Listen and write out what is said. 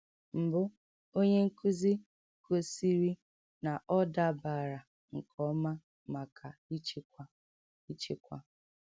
Mbụ, onye nkuzi gọ̀sìrì na ọ̀ dábàrà nke ọma maka ịchịkwa. ịchịkwa.